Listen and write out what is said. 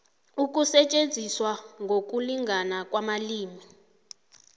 ukusetjenziswa ngokulingana kwamalimi